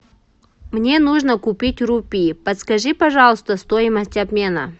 мне нужно купить рупии подскажи пожалуйста стоимость обмена